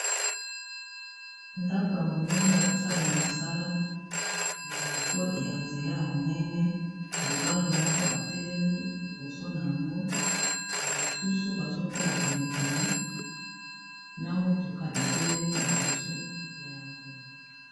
Ndako ya monene, ya ko salema mosala. Liboso ya nzela ya monene, mobali moko atelemi liboso na ngo. Ba misusu, bazo tala penepene, na motuka etelemi liboso na yango.